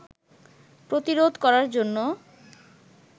প্রতিরোধ করার জন্য